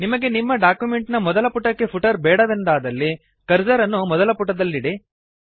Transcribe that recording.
ನಿಮಗೆ ನಿಮ್ಮ ಡಾಕ್ಯುಮೆಂಟ್ ನ ಮೊದಲ ಪುಟಕ್ಕೆ ಫುಟರ್ ಬೇಡವೆಂದಾದಲ್ಲಿ ಕರ್ಸರ್ ಅನ್ನು ಮೊದಲ ಪುಟದಲ್ಲಿಡಿ